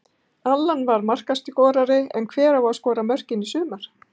Allan var markaskorari en hver á að skora mörkin í sumar?